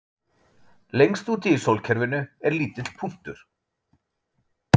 Lengst úti í sólkerfinu er lítill punktur